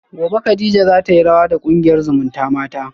gobe kadija zatayi rawa da kungiyar zumutamata